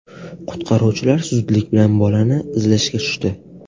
Qutqaruvchilar zudlik bilan bolani izlashga tushdi.